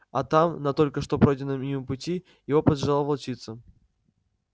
а там на только что пройденном ими пути его поджидала волчица